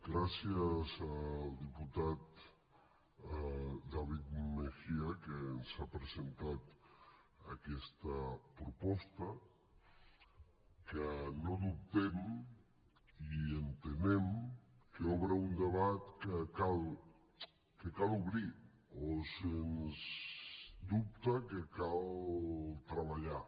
gràcies al diputat david mejía que ens ha presentat aquesta proposta que no dubtem i entenem que obre un debat que cal obrir o sens dubte que cal treballar